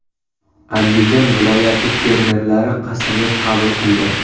Andijon viloyati fermerlari qasamyod qabul qildi .